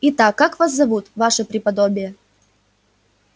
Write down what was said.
итак как вас зовут ваше преподобие